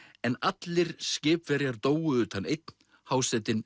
en allir skipverjar dóu utan einn hásetinn